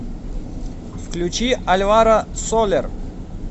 включи альваро солер